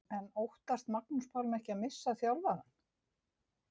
En óttast Magnús Pálmi ekki að missa þjálfarann?